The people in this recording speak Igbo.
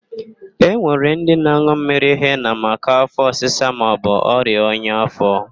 E nwere ndị na-an̄ụ mmiri hena maka áfọ̀ ọsịsa maọbụ ọrịa ọnya áfọ̀.